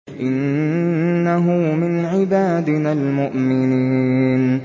إِنَّهُ مِنْ عِبَادِنَا الْمُؤْمِنِينَ